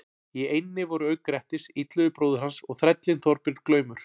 Í eynni voru auk Grettis, Illugi bróðir hans og þrællinn Þorbjörn glaumur.